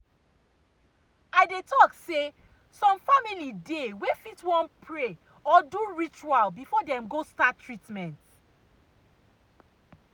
i dey talk say some family dey wey fit wan pray or do ritual before dem go start treatment.